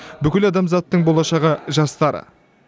бүкіл адамзаттың болашағы жастар